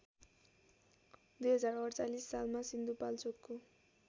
२०४८ सालमा सिन्धुपाल्चोकको